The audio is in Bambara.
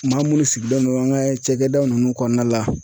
Maa munnu sigilen don an ka cakɛda nunnu kɔɔna la.